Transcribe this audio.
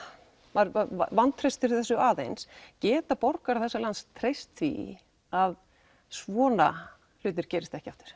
maður vantreystir þessu aðeins geta borgarar þessa lands treyst því að svona hlutir gerist ekki aftur